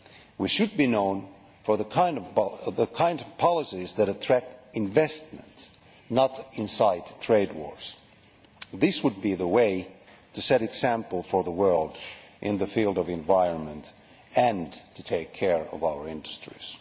We should be known for the kind of policies that attract investment rather than incite trade wars. This would be the way to set an example for the world in the field of the environment and to take care of our industries.